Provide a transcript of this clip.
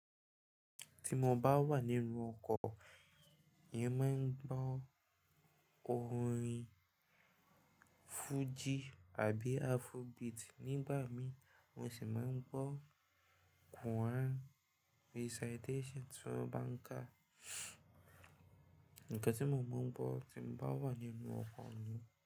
Ti mo bá wà nínú ọkọ̀, èmi máa ń gbọ́ orin Fuji àbí Afrobeat. Nígbà mi mo sì máa ń gbọ́ Quran recitation tiwọn bá ń ká. Nǹkan tí mo mọ̀ ọ́n gbọ́ tí mo bá wà nínú ọkọ̀ ni.